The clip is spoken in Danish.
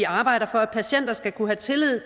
arbejder for at patienter skal kunne have tillid